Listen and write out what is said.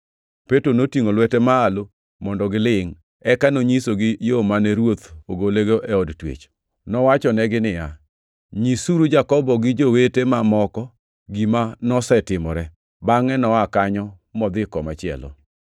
Petro notingʼo lwete malo mondo gilingʼ, eka nonyisogi yo mane Ruoth ogolego e od twech. Nowachonegi niya, “Nyisuru Jakobo gi jowete mamoko gima nosetimore.” Bangʼe noa kanyo modhi kamachielo.